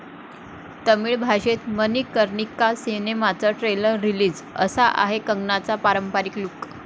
तामिळ भाषेत मणिकर्णिका सिनेमाचं trailer release, 'असा' आहे कंगनाचा पारंपारिक लुक